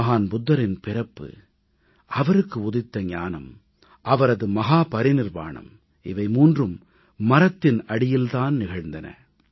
மகான் புத்தரின் பிறப்பு அவருக்கு உதித்த ஞானம் அவரது மஹாபரிநிர்வாணம் இவை மூன்றும் மரத்தின் அடியில் தான் நிகழ்ந்தன